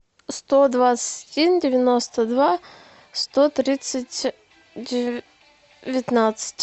сто двадцать один девяносто два сто тридцать девятнадцать